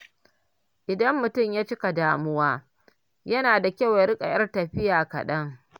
Idan mutum ya cika damuwa, yana da kyau ya riƙa ƴar tafiya kaɗan.